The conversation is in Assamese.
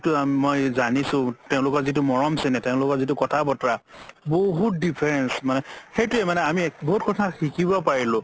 মই জানিছো তেওলোকৰ যিতু মৰম চেনেহ তেওলোকৰ যিতু কথা বতৰা বহুত difference মানে সেইটোয়ে আমি বহুত কথা শিকিব পাৰিলো